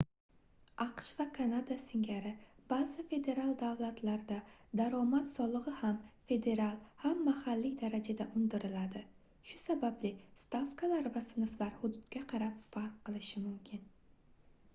aqsh va kanada singari baʼzi federal davlatlarda daromad soligʻi ham federal ham mahalliy darajada undiriladi shu sababli stavkalar va sinflar hududga qarab farq qilishi mumkin